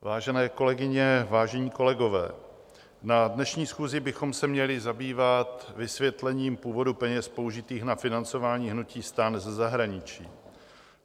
Vážené kolegyně, vážení kolegové, na dnešní schůzi bychom se měli zabývat vysvětlením původu peněz použitých na financování hnutí STAN ze zahraničí.